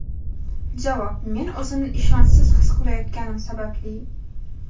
Javob: "Men o‘zimni ishonchsiz his qilayotganim sababli.".